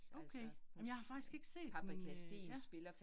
Okay. Jamen jeg har faktisk ikke set den øh ja